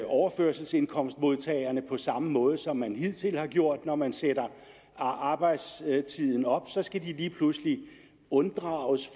overførselsindkomstmodtagerne på samme måde som man hidtil har gjort når man sætter arbejdstiden op så skal de lige pludselig unddrages